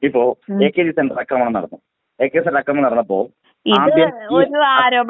ഇപ്പോ AKG centre അക്രമണം നടന്നു എകെജി സെന്‍റര്‍ അക്രമം നടന്നപ്പോൾ ആദ്യം.